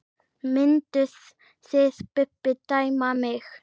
Mynduð þið Bubbi dæma mig?